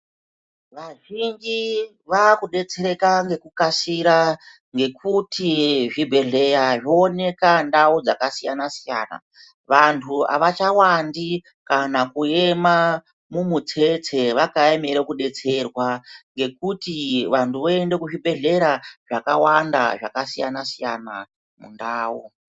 Vazhinji vakudetsereka ngekukasira ngekuti zvibhedhleya zvooneka ndau dzakasiyana-siyana. Vantu avachawandi kana kuyema mumutsetse vakaemera kudetserwa ngekuti vantu voenda kuzvibhedhlera zvakawanda zvakasiyana-siyana mundau.